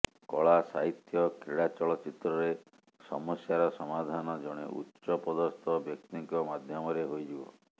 କଳା ସାହିତ୍ୟ କ୍ରୀଡା ଚଳଚ୍ଚିତ୍ରରେ ସମସ୍ୟାର ସମାଧାନ ଜଣେ ଉଚ୍ଚ ପଦସ୍ଥ ବ୍ୟକ୍ତିଙ୍କ ମାଧ୍ୟମରେ ହୋଇଯିବ